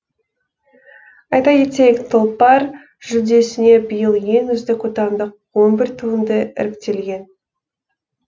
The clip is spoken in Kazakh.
айта кетейік тұлпар жүлдесіне биыл ең үздік отандық он бр туынды іріктелген